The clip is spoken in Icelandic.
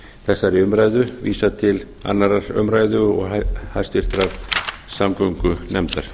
þessari umræðu vísað til annarrar umræðu og háttvirtrar samgöngunefndar